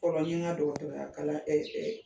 dɔ kɛ la kalan